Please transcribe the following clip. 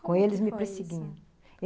Como é que foi isso? Com eles me perseguiam.